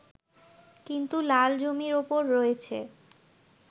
কিন্তু লাল জমির ওপর রয়েছে